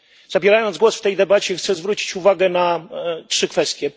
Zabierając głos w tej debacie, chcę zwrócić uwagę na trzy kwestie.